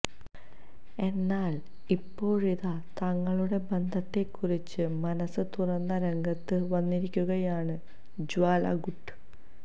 എന്നാൽ ഇപ്പോഴിതാ തങ്ങളുടെ ബന്ധത്തെക്കുറിച്ച് മനസ് തുറന്ന് രംഗത്ത് വന്നിരിക്കുകയാണ് ജ്വാല ഗുട്ട